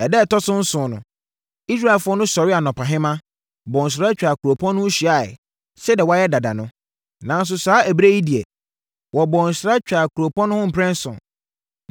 Ɛda a ɛtɔ so nson no, Israelfoɔ no sɔree anɔpahema, bɔɔ nsra twaa kuropɔn no ho hyiaeɛ, sɛdeɛ wɔayɛ dada no. Nanso, saa ɛberɛ yi deɛ, wɔbɔɔ nsra twaa kuropɔn no ho mprɛnson.